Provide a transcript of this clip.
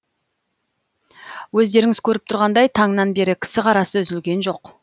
өздеріңіз көріп тұрғандай таңнан бері кісі қарасы үзілген жоқ